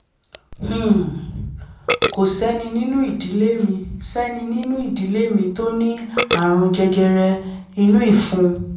um kò sẹ́ni nínú ìdílé sẹ́ni nínú ìdílé mi tó ní ààrùn jẹjẹrẹ inú ìfun